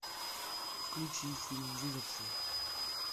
включи фильм выживший